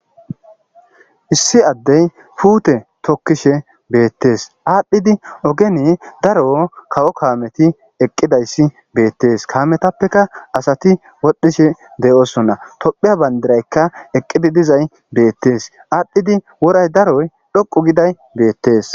Issi addey puute tokkishe beettees aadhdhidi ogene daro kawo kaameti eqqidayssi beettees kaametappeka asati wodhishe deyoosonna tophiya bandiraykka eqqidi dizay beettees aadhdhidi woray daroy dhoqu giday beettees.